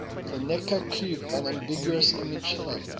the necker cube an ambiguous image thumb